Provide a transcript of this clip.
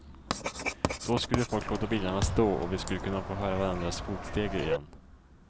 Då skulle folk låta bilarna stå och vi skulle kunna få höra varandras fotsteg igen.